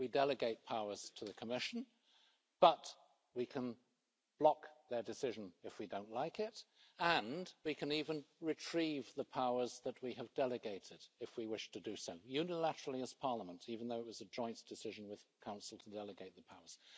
We delegate powers to the Commission, but we can block their decision if we don't like it, and we can even retrieve the powers that we have delegated if we wish to do so. This can be done unilaterally as Parliament, even though it was a joint decision with the Council to delegate the powers.